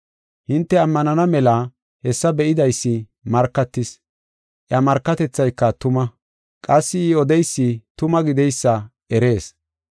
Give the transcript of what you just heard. Hinte ammanana mela hessa be7idaysi markatis. Iya markatethayka tuma. Qassi I odeysi tuma gideysa erees.